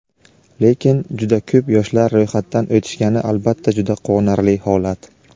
Lekin juda ko‘p yoshlar ro‘yxatdan o‘tishgani albatta juda quvonarli holat.